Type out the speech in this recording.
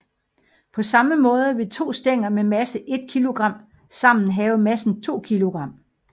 På samme måde vil to stænger med masse 1 kilogram sammen have massen 2 kilogram